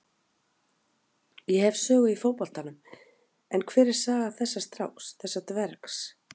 Ég hef sögu í fótboltanum en hver er saga þessa stráks, þessa dvergs?